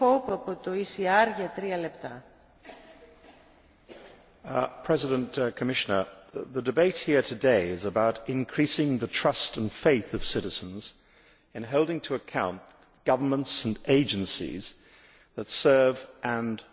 Madam President, Commissioner, the debate here today is about increasing the trust and faith of citizens in holding to account governments and agencies that serve and protect them.